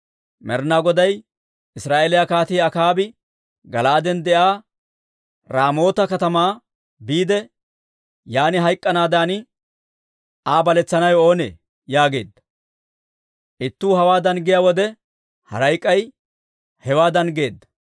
Med'inaa Goday, ‹Israa'eeliyaa Kaatii Akaabi Gala'aaden de'iyaa Raamoota katamaa biide, yaan hayk'k'anaadan Aa baletsanawe oonee?› yaageedda. Ittuu hawaadan giyaa wode, haray k'ay hewaadan geedda.